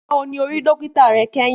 Nígbà wo ni o rí dókítà re kéyìn?